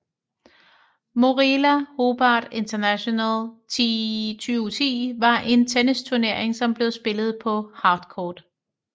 Moorilla Hobart International 2010 var en tennisturnering som blev spillet på Hardcourt